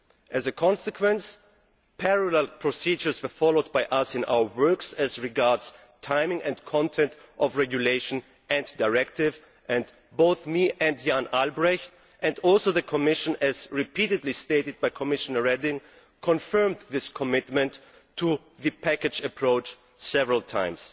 As a consequence, we followed parallel procedures in our work as regards the timing and content of the regulation and directive, and both I and Jan Albrecht and also the Commission, as repeatedly stated by Commissioner Reding confirmed this commitment to the package approach several times.